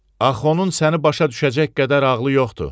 Axı onun səni başa düşəcək qədər ağlı yoxdur.